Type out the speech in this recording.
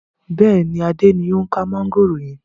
Bẹ́ẹ̀ni, Adé ni o ń ka mọ̀ngòrò yẹn.